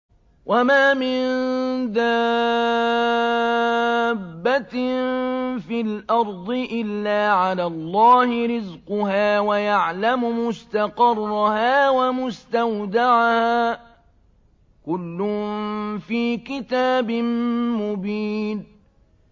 ۞ وَمَا مِن دَابَّةٍ فِي الْأَرْضِ إِلَّا عَلَى اللَّهِ رِزْقُهَا وَيَعْلَمُ مُسْتَقَرَّهَا وَمُسْتَوْدَعَهَا ۚ كُلٌّ فِي كِتَابٍ مُّبِينٍ